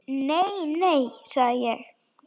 Nei, nei, sagði ég.